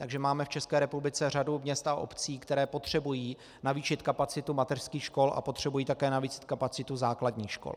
Takže máme v České republice řadu měst a obcí, které potřebují navýšit kapacitu mateřských škol a potřebují také navýšit kapacitu základních škol.